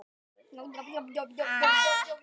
Mér líka orð hennar illa: